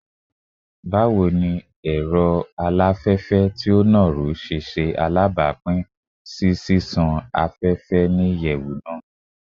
Bawo ni olufẹ ti o duro duro ṣe alabapin si ṣiṣan afẹfẹ ni iyẹwu naa?